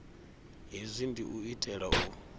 hezwi ndi u itela u